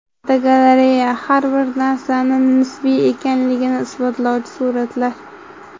Fotogalereya: Har bir narsani nisbiy ekanligini isbotlovchi suratlar.